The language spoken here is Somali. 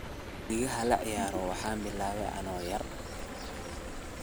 Musikadha laciyaro waxan bilawe ano yar.